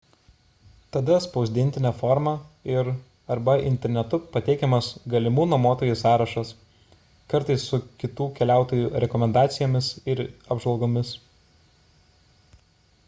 tada spausdintine forma ir arba internetu pateikiamas galimų nuomotojų sąrašas kartais su kitų keliautojų rekomendacijomis ir apžvalgomis